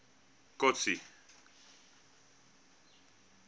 kotsi